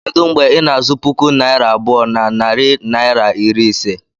Kedu mgbe ị na-azụ puku naira abụọ na narị naịra iri ise?